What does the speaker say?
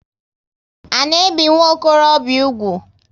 A na ebi nwokorobia úgwù?